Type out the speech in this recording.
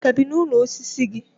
Ị ka bi n'ụlọ osisi gị?